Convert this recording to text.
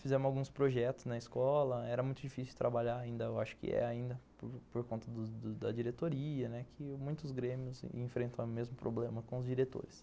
Fizemos alguns projetos na escola, era muito difícil trabalhar ainda, eu acho que é ainda por conta da diretoria, que muitos grêmios enfrentam o mesmo problema com os diretores.